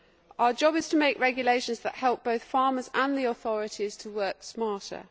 Our job is to make regulations that help both farmers and the authorities to work smarter.